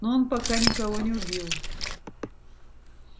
но он пока никого не убил